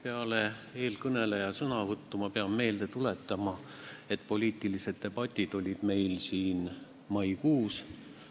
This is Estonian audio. Peale eelkõneleja sõnavõttu ma pean meelde tuletama, et poliitilised debatid olid meil siin maikuus.